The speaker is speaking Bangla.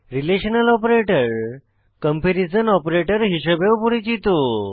রিলেশনাল অপারেটর কম্পেরিজন অপারেটর হিসাবেও পরিচিত